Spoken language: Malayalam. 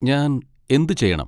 ഞാൻ എന്ത് ചെയ്യണം?